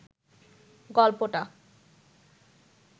গল্পটা